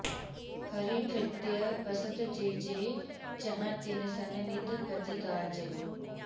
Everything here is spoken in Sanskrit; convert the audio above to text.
हरिभृत्य बसत जे जे जहाँ तिन सन नित प्रति काज